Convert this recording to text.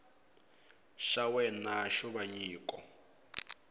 xa wena xo va nyiko